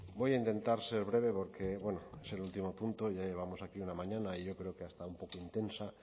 voy a intentar ser breve porque bueno es el último punto y ya llevamos aquí una mañana y yo creo que hasta un poco intensa